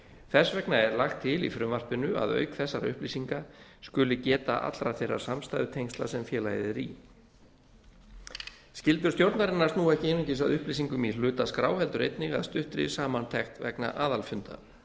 þess vegna er lagt til í frumvarpinu að auk þessara upplýsinga skuli geta allra þeirra samstæðutengsla sem félagið er í skyldur stjórnarinnar snúa ekki einungis að upplýsingum í hlutaskrá heldur einnig að stuttri samantekt vegna aðalfunda